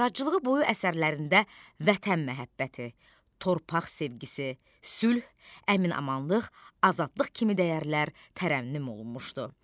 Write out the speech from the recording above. Yaradıcılığı boyu əsərlərində vətən məhəbbəti, torpaq sevgisi, sülh, əmin-amanlıq, azadlıq kimi dəyərlər tərənnüm olunmuşdu.